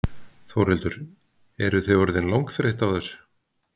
Þórhildur: Eruð þið orðin langþreytt á þessu?